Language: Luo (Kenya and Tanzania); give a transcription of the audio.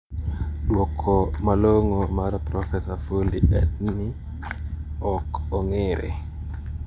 Duoko malong`o mar profesa Foley en ni ok ong`ere.